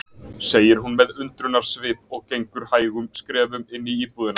segir hún með undrunarsvip og gengur hægum skrefum inn í íbúðina.